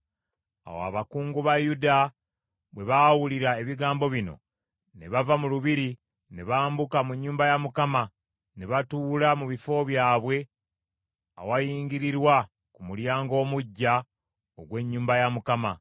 Awo abakungu ba Yuda bwe baawulira ebigambo bino, ne bava mu lubiri ne bambuka mu nnyumba ya Mukama ne batuula mu bifo byabwe awayingirirwa ku Mulyango Omuggya ogw’ennyumba ya Mukama .